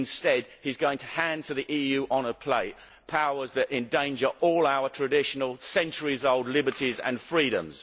instead, he is going to hand to the EU on a plate powers that endanger all our traditional, centuries old liberties and freedoms.